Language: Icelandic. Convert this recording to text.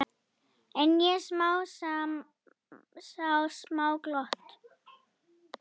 En ég sá smá glott.